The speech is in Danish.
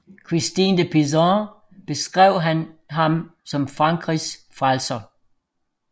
Christine de Pizan beskrev ham som Frankrigs frelser